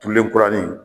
Turulenkurani